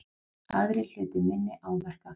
Aðrir hlutu minni áverka